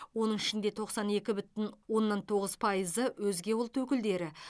оның ішінде тоқсан екі бүтін оннан тоғыз пайызы өзге ұлт өкілдері